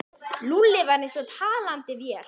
Lúlli var eins og talandi vél.